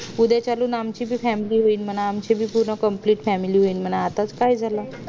उद्या चालून आमची पण फॅमिली होईल म्हणा आमची पण complete फॅमिली होईल म्हणा आता काय झालं